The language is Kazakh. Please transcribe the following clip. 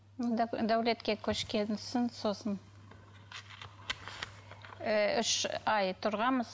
дәулетке көшкен соң сосын ыыы үш ай тұрғанбыз